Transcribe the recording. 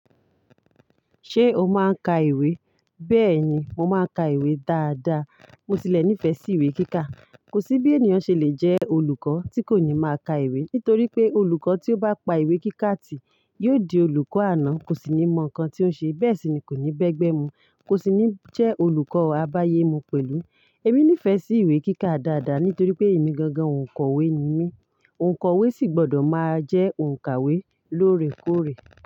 Ṣé o máa ń ka ìwé? Bẹ́ẹ̀ni, mo máa ń ka ìwé dáadáa. Mo tilẹ̀ nífẹ̀ẹ́ sí ìwé kíkà. Kò sí bí ènìyàn ṣe lè jẹ́ olùkọ́ tí kò ní máa ka ìwé, nítorí pé olùkọ́ tí ó bá pa ìwé kíkà tì yóò di olùkọ́ àná, kò sì ní mọ nǹkan tí ó ń ṣe. Bẹ́ẹ̀ sì ni kò ní bẹ́gbẹ́ mu, kò sì ní jẹ́ olùkọ́ àbáyé mú pẹ̀lú. Èmi nífẹ̀ẹ́ sí ìwé kíkà dáadáa nítorí pé èmi gangan òǹkọ̀wé ni mí. Òǹkọ̀wé sì gbọ́dọ̀ máa jẹ́ òǹkàwé lóòrèkóòrè.